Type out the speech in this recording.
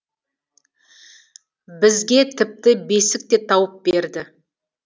бізге тіпті бесік те тауып берді